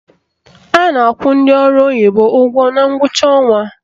A na-akwụ ndị ọrụ oyibo ụgwọ na ngwụcha ọnwa